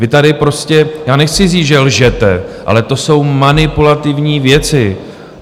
Vy tady prostě - já nechci říct, že lžete, ale to jsou manipulativní věci.